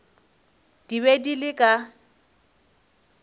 di be di le ka